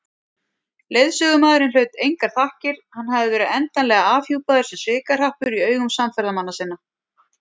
Leiðsögumaðurinn hlaut engar þakkir, hann hafði verið endanlega afhjúpaður sem svikahrappur í augum samferðamanna sinna.